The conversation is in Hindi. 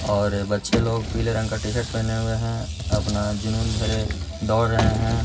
और बच्चे लोग पीले रंग का टी-शर्ट पहने हुए हैं अपना जूनून भरे दौड़ रहे हैं।